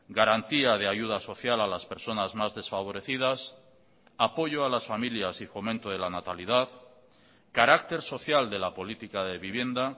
garantía de ayuda social a las personas más desfavorecidas apoyo a las familias y fomento de la natalidad carácter social de la política de vivienda